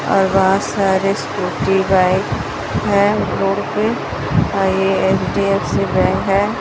और बहोत सारे स्कूटी बाइक हैं रोड पे अ ये एच_डी_एफ_सी बैंक है।